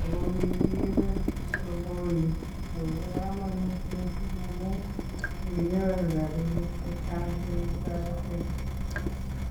ago kigiibe sogoni ago ba kamanut missing amu kikinyoru rabiniik che kikitoretegei.